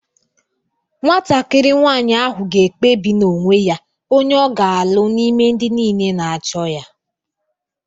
Nwatakịrị nwanyị ahụ ga-ekpebi n’onwe ya onye ọ ga-alụ n’ime ndị niile na-achọ ya